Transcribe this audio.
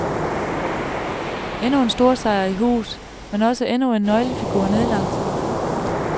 Endnu en storsejr i hus, men også endnu en nøglefigur nedlagt.